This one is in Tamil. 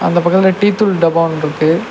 அந்த பக்கத்ல டீ தூள் டப்பா ஒன்னு இருக்கு.